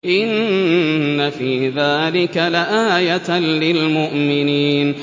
إِنَّ فِي ذَٰلِكَ لَآيَةً لِّلْمُؤْمِنِينَ